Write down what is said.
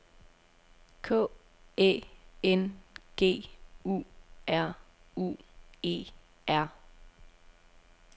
K Æ N G U R U E R